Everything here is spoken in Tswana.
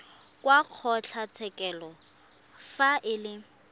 wa kgotlatshekelo fa e le